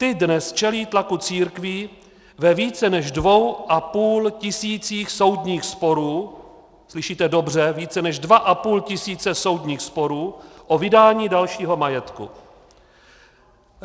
Ta dnes čelí tlaku církví ve více než dvou a půl tisících soudních sporů, slyšíte dobře, více než dva a půl tisíce soudních sporů o vydání dalšího majetku.